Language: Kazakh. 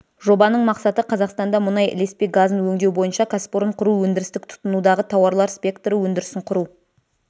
жобаның мақсаты қазақстанда мұнай ілеспе газын өңдеу бойынша кәсіпорын құру өндірістік тұтынудағы тауарлар спекторы өндірісін құру